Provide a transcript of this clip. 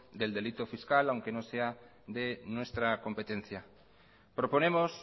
del delito fiscal aunque no sea de nuestra competencia proponemos